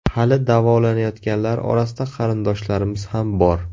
Hali davolanayotganlar orasida qarindoshlarimiz ham bor.